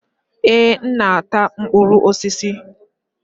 Èé, m na-ata mkpụrụ osisi